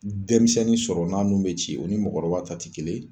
Dɛmisɛnnin sɔrɔ n'a nun be ci , o ni mɔgɔkɔrɔba ta ti kelen ye.